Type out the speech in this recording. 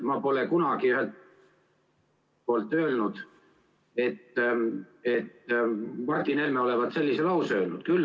Ma pole kunagi öelnud, et Martin Helme olevat sellise lause öelnud.